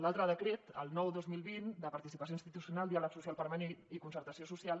l’altre decret el nueve dos mil veinte de participació institucional diàleg social permanent i concertació social